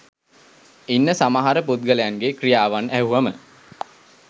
ඉන්න සමහර පුද්ගලයන්ගේ ක්‍රියාවන් ඇහුවම